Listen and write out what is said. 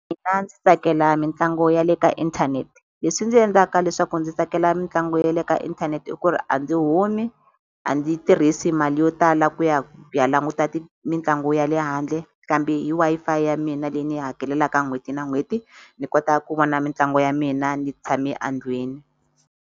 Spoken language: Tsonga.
Mina ndzi tsakela mitlangu ya le ka inthanete. Leswi ndzi endlaka leswaku ndzi tsakela mitlangu ya le ka inthanete i ku ri a ndzi humi, a ndzi yi tirhisi mali yo tala ku ya ku ya languta mitlangu ya le handle, kambe hi Wi-Fi ya mina leyi ni yi hakelelaka n'hweti na n'hweti ni kota ku vona mitlangu ya mina ni tshame a ndlwini.